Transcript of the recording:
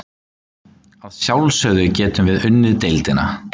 Að sjálfsögðu getum við unnið deildina.